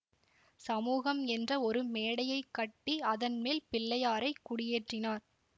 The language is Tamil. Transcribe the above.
சமூகம் என்ற ஒரு மேடையை கட்டி அதன் மேல் பிள்ளையாரைக் குடியேற்றினார்